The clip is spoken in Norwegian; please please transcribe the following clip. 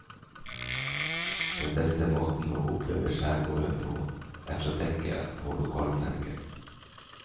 Den beste måten å oppleve skjærgården på er fra dekket på lokalfergen.